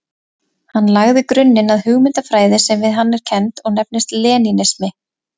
Hann lagði grunninn að hugmyndafræði sem við hann er kennd og nefnist lenínismi.